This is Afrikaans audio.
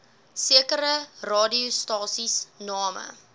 sekere radiostasies name